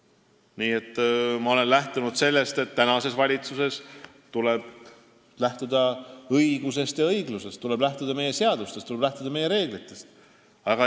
Minu arvates tuleb praeguses valitsuses lähtuda õigusest ja õiglusest, tuleb lähtuda meie seadustest ja meie reeglitest.